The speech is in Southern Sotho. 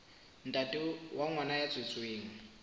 ntate wa ngwana ya tswetsweng